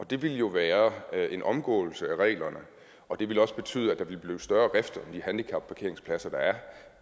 det ville jo være en omgåelse af reglerne og det ville også betyde at der ville blive større rift om de handicapparkeringspladser der er